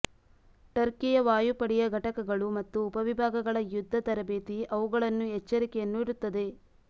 ಟರ್ಕಿಯ ವಾಯುಪಡೆಯ ಘಟಕಗಳು ಮತ್ತು ಉಪವಿಭಾಗಗಳ ಯುದ್ಧ ತರಬೇತಿ ಅವುಗಳನ್ನು ಎಚ್ಚರಿಕೆಯನ್ನು ಇಡುತ್ತದೆ